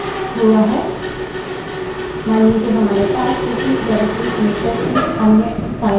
मानिए कि हमारे पास उसी डाइरेक्टरी में टेस्ट2 अन्य फाइल है